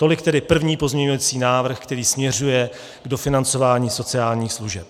Tolik tedy první pozměňovací návrh, který směřuje k dofinancování sociálních služeb.